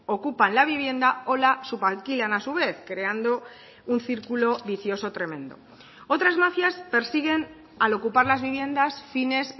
ocupan la vivienda o la subalquilan a su vez creando un círculo vicioso tremendo otras mafias persiguen al ocupar las viviendas fines